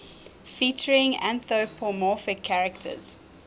featuring anthropomorphic characters